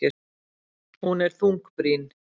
Hún er þungbrýn.